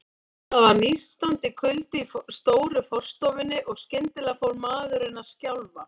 Það var nístandi kuldi í stóru forstofunni, og skyndilega fór maðurinn að skjálfa.